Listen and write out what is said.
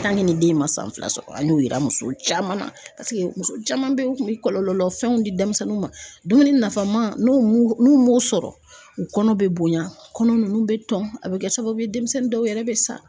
nin den ma san fila sɔrɔ an y'o yira muso caman na paseke muso caman bɛ yen u tun bɛ kɔlɔlɔ fɛnw di denmisɛnninw ma dumuni nafama n'u m'u m'u sɔrɔ u kɔnɔ bɛ bonya kɔnɔ ninnu bɛ tɔn a bɛ kɛ sababu ye denmisɛnnin dɔw yɛrɛ bɛ sa.